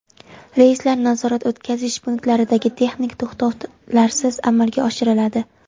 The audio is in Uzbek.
Reyslar nazorat-o‘tkazish punktlaridagi texnik to‘xtovlarsiz amalga oshiriladi.